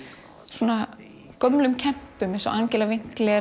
svona gömlu kempum eins og Angelu